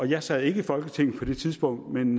jeg sad ikke i folketinget på det tidspunkt men